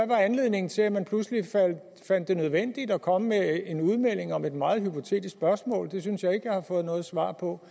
var anledningen til at man pludselig fandt det nødvendigt at komme med en udmelding om et meget hypotetisk spørgsmål det synes jeg ikke jeg har fået noget svar på